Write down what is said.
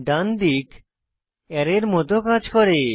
ডান দিক আরায় এর মত কাজ করে